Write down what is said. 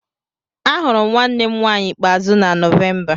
Ahụrụ m nwanne m nwanyị ikpeazụ na Nọvemba.